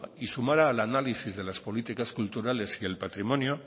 y sumara al análisis de las políticas culturales y el patrimonio